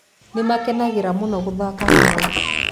Nĩ makenagĩra mũno gũthaka hamwe.